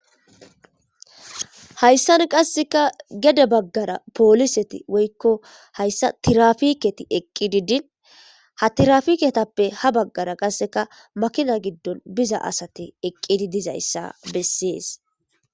Hayisan qaseka gede bagara polise woyiko haysa tirafikey eqidi dini hatirapiketape qa ha bagara makinazi eqin diza asati eqidi dizaysa beses